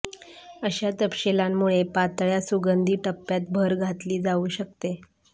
अशा तपशीलांमुळे पातळ्या सुगंधी टप्प्यात भर घातली जाऊ शकते